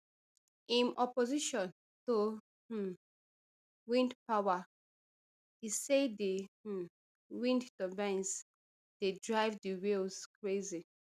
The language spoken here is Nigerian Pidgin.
im opposition to um wind power e say di um wind turbines dey drive di whales crazy